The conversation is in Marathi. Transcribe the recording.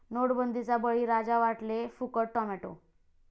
नोटबंदीचा 'बळी'राजा, वाटले फुकट टोमॅटो